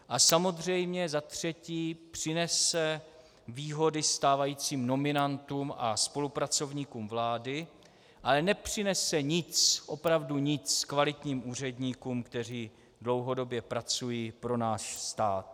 A samozřejmě za třetí přinese výhody stávajícím nominantům a spolupracovníkům vlády, ale nepřinese nic, opravdu nic kvalitním úředníkům, kteří dlouhodobě pracují pro náš stát.